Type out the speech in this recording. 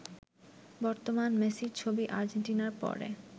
বর্তমান মেসির ছবি আর্জেন্টিনার পরে